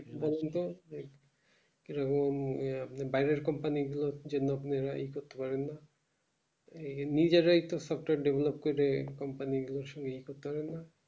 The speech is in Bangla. দোলনাতে বাইরের company গুলোর জন্য আহ ই করতে পারেন না নিজেরই একটু software develop করে company গুলোর সংঘে ই করতে পারেন না